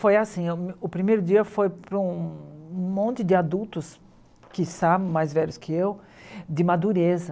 Foi assim, o primeiro dia foi para um monte de adultos, quiçá mais velhos que eu, de madureza.